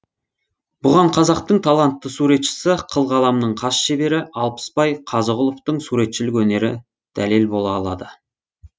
бұған қазақтың талантты суретшісі қыл қаламның қас шебері алпысбай қазығұловтың суретшілік өнері дәлел бола алады